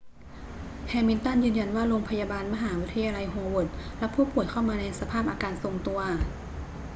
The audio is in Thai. แฮมิลตันยืนยันว่าโรงพยาบาลมหาวิทยาลัยโฮเวิร์ดรับผู้ป่วยเข้ามาในสภาพอาการทรงตัว